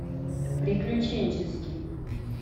приключенческий